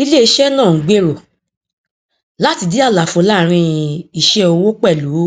iléiṣẹ náà ń gbèrò láti di àlàfo láàrin iṣẹ owó pẹlú